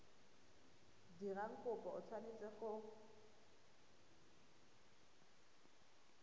dirang kopo o tshwanetse go